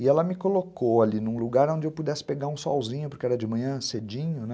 e ela me colocou ali num lugar onde eu pudesse pegar um solzinho, porque era de manhã, cedinho, né?